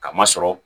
K'a ma sɔrɔ